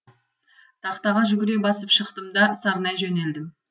тақтаға жүгіре басып шықтым да сарнай жөнелдім